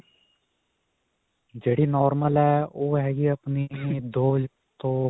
ਜਿਹੜੀ normal ਹੈ. ਓਹ ਹੈਗੀ ਆਪਣੀ ਦੋ ਤੋਂ.